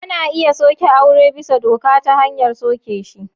Ana iya soke aure bisa doka ta hanyar soke shi.